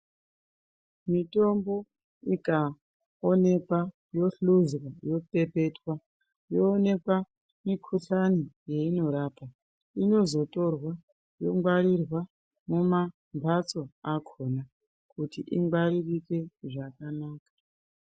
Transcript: Mitombo ikaoneka yohluzwa yopepetwa yoonekwa mikuhlani yeinorapa. Inozotorwa kungwarirwa muma mhatso akona kuti ingwaririke zvakanaka.